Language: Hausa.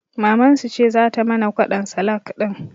Mamansu ce zata mana kwaɗon salak ɗin